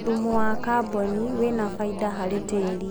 thumu wa carbon wina baida harĩ tĩĩri